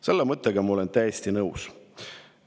" Selle mõttega ma olen täiesti nõus.